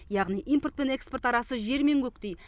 яғни импорт пен экспорт арасы жер мен көктей